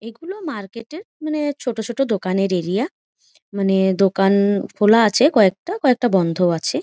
এগুলো মার্কেটের মানে ছোট ছোট দোকানের এরিয়া । মানে দোকান খোলা আছে কয়েকটা। কয়েকটা বন্ধ আছে।